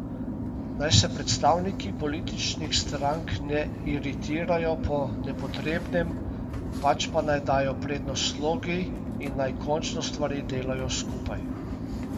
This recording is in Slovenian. Naj se predstavniki političnih strank ne iritirajo po nepotrebnem, pač pa naj dajo prednost slogi in naj končno stvari delajo skupaj.